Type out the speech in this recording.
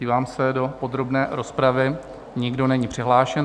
Dívám se, do podrobné rozpravy nikdo není přihlášen.